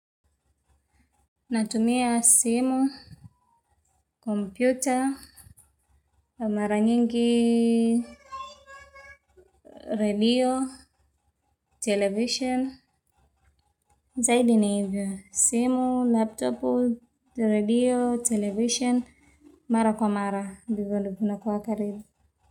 Natumia simu, kompyuta mara nyingi, redio, televisheni zaidi ni vya simu, laptopu, redio, televisheni mara kwa mara ndivyo vinakuwa karibu.